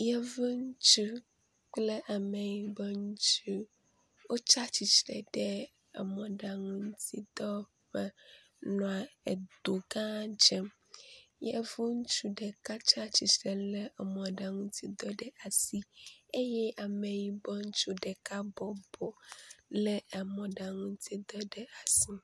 Yevu ŋutsu kple ameyibɔ ŋutsu wó tsatsitsre ɖe emɔɖaŋu ŋuti dɔwɔƒe nɔa edo gã dzem yevu ŋutsu ɖeka tsatsistre le emɔɖaŋuŋdɔ le asi eye ameyibɔ ŋutsu ɖeka bɔbɔ le emɔɖaŋuŋtsidɔ le asi